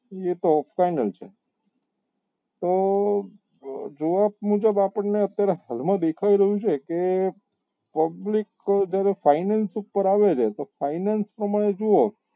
એ તો આપવા નો છે તો જવાબ મુજબ આપણને અત્યારે હાલ માં દેખાઈ રહ્યું છે કે public જયારે finance ઉપર આવી રહી છે જો finance પ્રમાણે જોવો તો